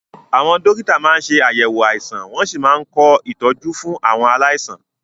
Àwọn dókítà máa ń ṣe àyẹ̀wò àìsàn wọ́n sì máa ń kọ ìtọ́jú fún àwọn aláìsàn wọn.